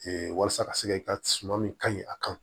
walasa ka se ka suman min ka ɲi a kan